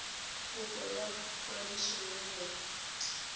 kopo ya kwadiso ya yona